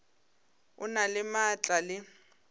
o na le maatla le